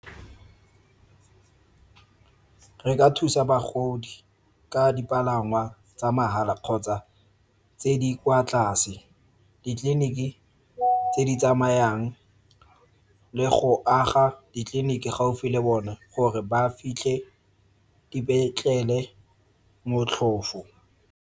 Re ka thusa bagodi ka dipalangwa tsa mahala kgotsa tse di kwa tlase, ditleliniki tse di tsamayang le go aga ditleliniki gaufi le bone gore ba fitlhe dipetlele motlhofo.